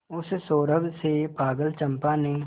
उस सौरभ से पागल चंपा ने